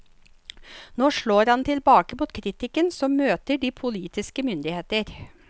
Nå slår han tilbake mot kritikken som møter de politiske myndigheter.